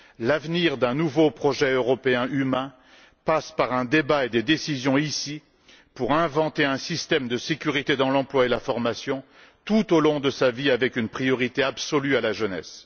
L'avenir d'un nouveau projet européen humain passe par un débat et des décisions, ici, afin d'inventer un système de sécurité dans l'emploi et la formation tout au long de la vie, avec une priorité absolue à la jeunesse.